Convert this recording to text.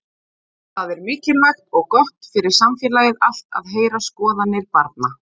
Það er mikilvægt og gott fyrir samfélagið allt að heyra skoðanir barna.